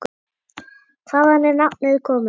Hvaðan er nafnið komið?